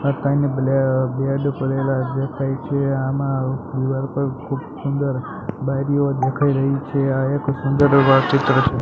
આ બેડ પડેલા દેખાય છે આમાં દિવાલ પર ખુબ સુંદર બારીઓ દેખાય રહી છે આ એક સુંદર એવા ચિત્ર છે.